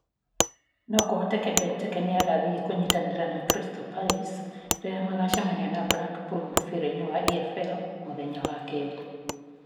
No kũhoteke Benteke nĩ agathiĩ kũnyitanĩra na Crystal Palace, rĩrĩa magacemania na Blackpool mũbira-inĩ wa EFL mũthenya wa keerĩ.